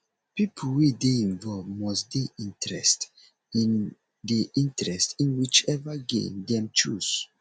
pipo wey de involve must de interest in de interest in which ever game them choose